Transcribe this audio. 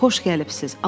Xoş gəlibsiz.